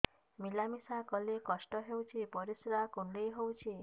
ମିଳା ମିଶା କଲେ କଷ୍ଟ ହେଉଚି ପରିସ୍ରା କୁଣ୍ଡେଇ ହଉଚି